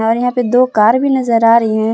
और यहां पे दो कार भी नज़र आ रही हैं।